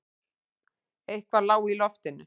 Eitthvað lá í loftinu.